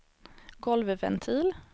golvventil